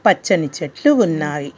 పచ్చని చెట్లు ఉన్నాయి.